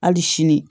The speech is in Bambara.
Hali sini